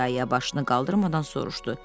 İya-iya başını qaldırmadan soruşdu.